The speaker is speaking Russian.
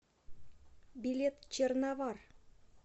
билет черновар